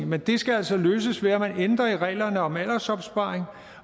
men det skal altså løses ved at man ændrer i reglerne om aldersopsparing